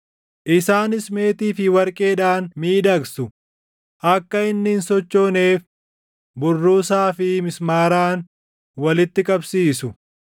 Isaanis meetii fi warqeedhaan miidhagsu; akka inni hin sochooneef burruusaa fi mismaaraan walitti qabsiisu.